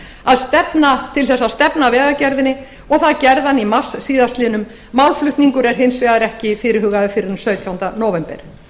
að stefna vegagerðinni og það gerði hann í mars síðastliðinn málflutningur er hins vegar ekki fyrirhugaður fyrr en sautjánda nóvember